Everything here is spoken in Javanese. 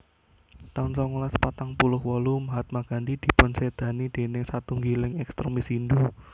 taun songolas patang puluh wolu Mahatma Gandhi dipunsédani déning satunggiling ekstremis Hindhu